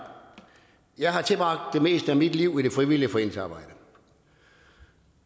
jeg har tilbragt det meste af mit liv i det frivillige foreningsarbejde